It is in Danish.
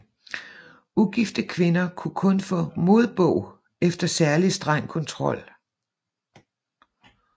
Ugifte kvinder kunne kun få modbog efter særlig streng kontrol